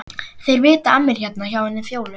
Þeir vita af mér hérna hjá henni Fjólu.